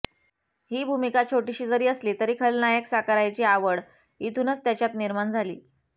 ही भूमिका छोटीशी जरी असली तरी खलनायक साकारायची आवड इथूनच त्याच्यात निर्माण झाली